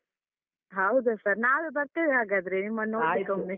ಹೌದ sir ನಾವೇ ಬರ್ತೇವೆ ಹಾಗಾದ್ರೆ ನಿಮ್ಮನ್ನು ನೋಡ್ಲಿಕೊಮ್ಮೆ.